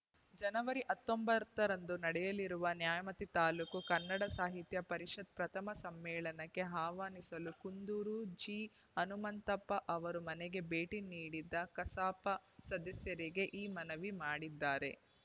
ಜನವರಿ ಹತ್ತೊಂಬತ್ತ ರಂದು ನಡೆಯಲಿರುವ ನ್ಯಾಮತಿ ತಾಲೂಕು ಕನ್ನಡ ಸಾಹಿತ್ಯ ಪರಿಷತ್‌ ಪ್ರಥಮ ಸಮ್ಮೇಳನಕ್ಕೆ ಆಹ್ವಾನಿಸಲು ಕುಂದೂರು ಜಿಹನುಂತಪ್ಪ ಅವರ ಮನೆಗೆ ಭೇಟಿ ನೀಡಿದ್ದ ಕಸಾಪ ಸದಸ್ಯರಿಗೆ ಈ ಮನವಿ ಮಾಡಿದ್ದಾರೆ